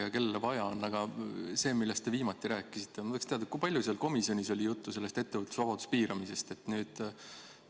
Aga küsin selle kohta, millest te viimati rääkisite, nimelt, kui palju oli komisjonis juttu ettevõtlusvabaduse piiramisest?